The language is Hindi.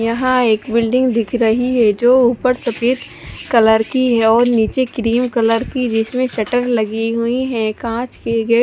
यहा एक बिल्डिंग दिख रही है जो उपर सफ़ेद कलर की है और निचे क्रीम कलर बिच में चटर लगी हुई है काच में गेट--